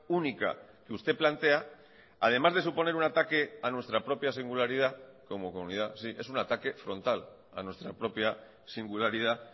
única que usted plantea además de suponer un ataque a nuestra propia singularidad como comunidad sí es un ataque frontal a nuestra propia singularidad